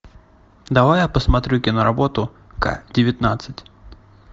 давай я посмотрю киноработу ка девятнадцать